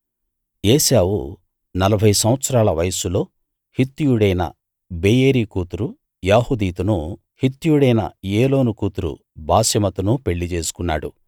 ఏశావు నలభై సంవత్సరాల వయస్సులో హిత్తీయుడైన బేయేరీ కూతురు యహూదీతునూ హిత్తీయుడైన ఏలోను కూతురు బాశెమతునూ పెళ్ళి చేసుకున్నాడు